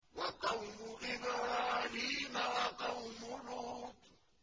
وَقَوْمُ إِبْرَاهِيمَ وَقَوْمُ لُوطٍ